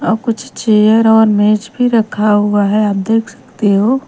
अ कुछ चेयर और मेज भी रखा हुआ है आप देख सकते हो ।